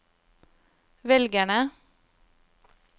velgerne